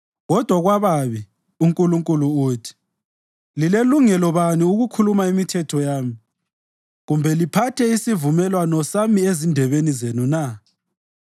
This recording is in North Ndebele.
Kodwa kwababi, uNkulunkulu uthi: “Lilelungelo bani ukukhuluma imithetho yami kumbe liphathe isivumelwano sami ezindebeni zenu na?